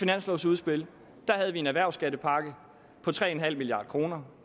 finanslovsudspil havde vi en erhvervsskattepakke på tre milliard kr